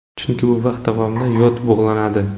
Chunki bu vaqt davomida yod bug‘lanadi.